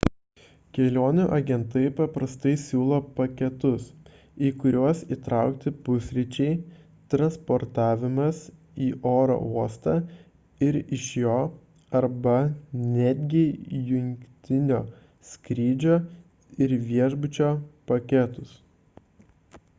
kelionių agentai paprastai siūlo paketus į kuriuos įtraukti pusryčiai transportavimas į oro uostą ir iš jo arba netgi jungtinio skrydžio ir viešbučio paketus